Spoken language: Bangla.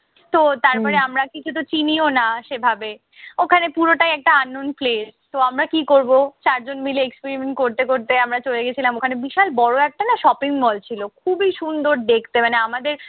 তো তারপরে আমরা কিছুতো চিনিও না সেভাবে। ওখানে পুরোটা একটা unknown place তো আমরা কি করব, চারজন মিলে experiment করতে করতে আমরা চলে গেছিলাম ওখানে বিশাল বড় একটা না shopping mall ছিল। খুবই সুন্দর দেখতে মানে আমাদের